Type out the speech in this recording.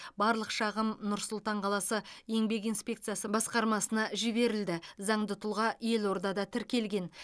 барлық шағым нұр сұлтан қаласы еңбек инспекциясы басқармасына жіберілді заңды тұлға елордада тіркелген